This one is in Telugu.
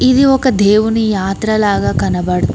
ఇది ఒక దేవుని యాత్ర లాగా కనబడుతూ--